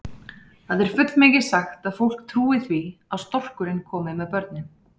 Það er fullmikið sagt að fólk trúi því að storkurinn komi með börnin.